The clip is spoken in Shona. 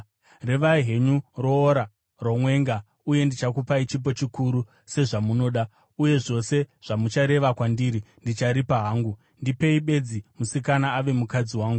Revai henyu roora romwenga uye ndichakupai chipo chikuru sezvamunoda, uye zvose zvamuchareva kwandiri ndicharipa hangu. Ndipei bedzi musikana ave mukadzi wangu.”